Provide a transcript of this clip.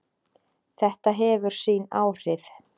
Þetta hefur sín áhrif.